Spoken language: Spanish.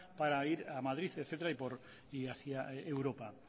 para ir a madrid etcétera y hacia europa